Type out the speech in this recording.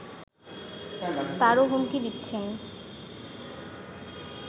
তারও হুমকি দিচ্ছেন